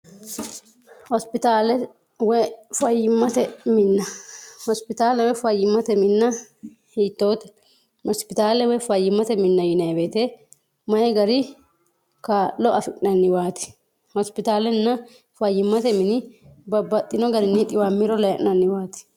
hositlwfyimmte minhospitaalewee fayyimmate minna hiittoote mospitaalewee fayyimmate minna yineeweete mayi gari kaa'lo afi'nanniwaati hospitaalenna fayyimmate mini babbaxxino garinni dhiwammiro layi'nanniwaati